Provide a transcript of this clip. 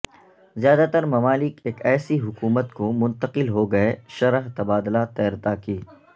زیادہ تر ممالک ایک ایسی حکومت کو منتقل ہو گئے شرح تبادلہ تیرتا کی